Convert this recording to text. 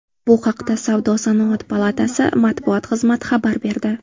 Bu haqda Savdo-sanoat palatasi matbuot xizmati xabar berdi .